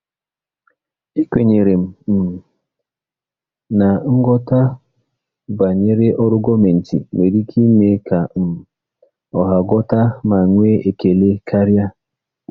Ekwenyere m um na nghọta banyere ọrụ gọọmentị nwere ike ime ka um ọha ghọta ma nwee ekele karịa.